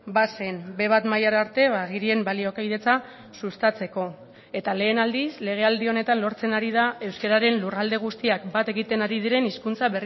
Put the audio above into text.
bazen be bat mailara arte agirien baliokidetza sustatzeko eta lehen aldiz legealdi honetan lortzen ari da euskararen lurralde guztiak bat egiten ari diren hizkuntza